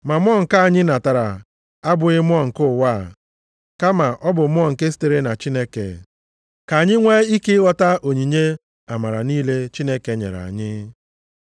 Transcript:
Ma mmụọ nke anyị natara abụghị mmụọ nke ụwa, kama ọ bụ Mmụọ nke sitere na Chineke, ka anyị nwee ike ịghọta onyinye amara niile Chineke nyere anyị.